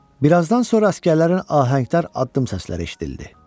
Bir azdan sonra əsgərlərin ahəngdar addım səsləri eşidildi.